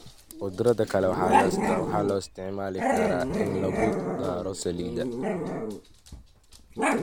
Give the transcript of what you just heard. Khudradda kale waxaa loo isticmaali karaa in lagu daro saladi.